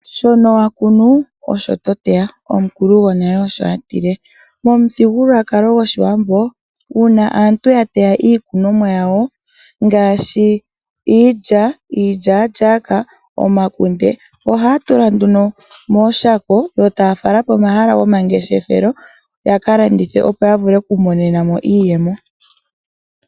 Shono wa kunu osho to teya, omukulu gwonale osho atile. Omuthigululwakalo goshiwambo uuna aantu ya teya iikunomwa yawo ngaashi iilya, iilyaalyaka, omakunde ohaya tula nduno mooshako yo taya fala po mahala go mangeshefelo yaka landithe opo ya vule oku imonena mo iiyemo.